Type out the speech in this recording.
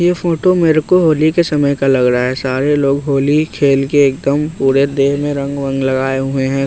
यह फोटो मेरे को होली के समय का लग रहा है सारे लोग होली खेल के एकदम पूरे देह में रंग वांग लगाए हुए हैं।